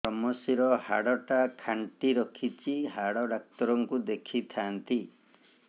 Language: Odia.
ଵ୍ରମଶିର ହାଡ଼ ଟା ଖାନ୍ଚି ରଖିଛି ହାଡ଼ ଡାକ୍ତର କୁ ଦେଖିଥାନ୍ତି